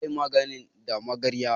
Za a yi magani da magarya.